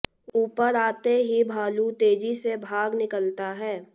ऊपर आते ही भालू तेजी से भाग निकलता है